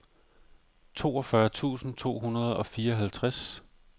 toogfyrre tusind to hundrede og fireoghalvtreds